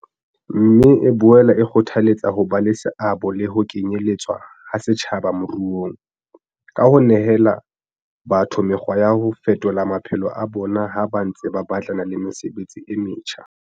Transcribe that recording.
Mme e boela e kgothaletsa ho ba le seabo le ho kenyeletswa ha setjhaba moruong, ka ho nehela batho mekgwa ya ho fetolo maphelo a bona ha ba ntse ba batlana le mesebetsi e metjha.